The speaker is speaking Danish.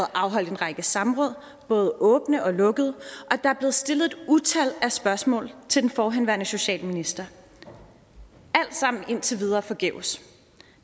afholdt en række samråd både åbne og lukkede og stillet et utal af spørgsmål til den forhenværende socialminister alt sammen indtil videre forgæves